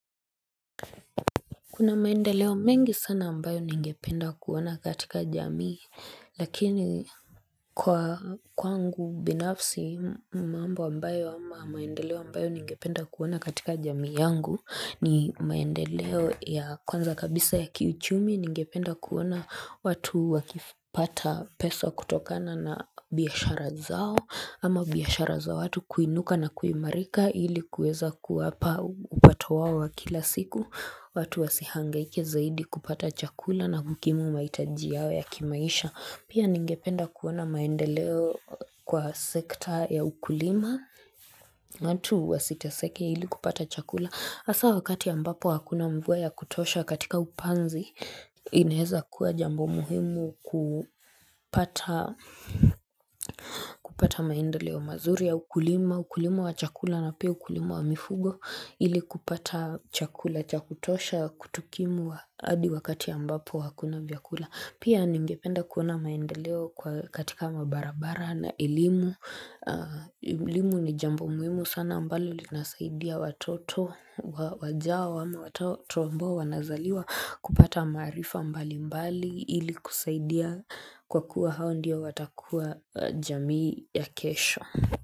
Kuna maendeleo mengi sana ambayo ningependa kuona katika jamii lakini kwa kwangu binafsi mambo ambayo ama maendeleo ambayo ningependa kuona katika jamii yangu ni maendeleo ya kwanza kabisa ya kiuchumi ningependa kuona watu wakipata pesa kutokana na biashara zao ama biashara za watu kuinuka na kuimarika ili kuweza kuwapa upato wao wa kila siku watu wasihangaike zaidi kupata chakula na kukimu maitaji yao ya kimaisha Pia ningependa kuona maendeleo kwa sekta ya ukulima watu wasiteseke ili kupata chakula hasa wakati ambapo hakuna mvua ya kutosha katika upanzi inaweza kuwa jambo muhimu kupata maendeleo mazuri ya ukulima ukulima wa chakula na pia ukulima wa mifugo ili kupata chakula cha kutosha kutukimu hadi wakati ya ambapo hakuna vyakula pia ningependa kuona maendeleo katika mabarabara na elimu elimu ni jambo muhimu sana ambalo linasaidia watoto wajao ama watoto ambao wanazaliwa kupata maarifa mbali mbali ili kusaidia kwa kuwa hao ndiyo watakuwa jamii ya kesho.